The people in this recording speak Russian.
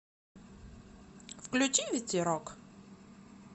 включи ветерок